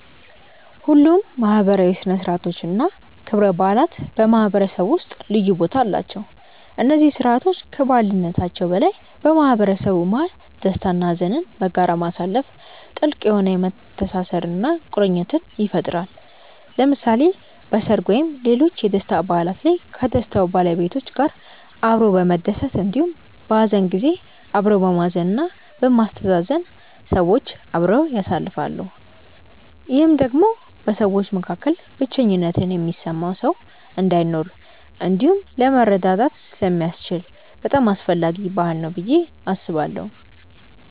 ሁሉም ማህበራዊ ሥነ ሥርዓቶች እና ክብረ በዓላት በማህበረሰቡ ውስጥ ልዩ ቦታ አላቸው። እነዚህ ስርዓቶች ከበዓልነታቸው በላይ በማህበረሰቡ መሀል ደስታ እና ሀዘንን በጋራ ማሳለፋ ጥልቅ የሆነ መተሳሰርን እና ቁርኝትን ይፈጥራል። ለምሳሌ በሰርግ ወይም ሌሎች የደስታ በዓላት ላይ ከደስታው ባለቤቶች ጋር አብሮ በመደሰት እንዲሁም በሀዘን ጊዜ አብሮ በማዘን እና በማስተዛዘን ሰዎች አብረው ያሳልፋሉ። ይህም ደግሞ በሰዎች መካከል ብቸኝነት የሚሰማው ሰው እንዳይኖር እንዲሁም ለመረዳዳት ስለሚያስችል በጣም አስፈላጊ ባህል ነው ብዬ አስባለሁ።